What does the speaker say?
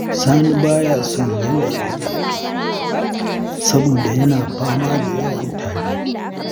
Sani ba ya son yanayin zafi, saboda yana fama da yawan tari.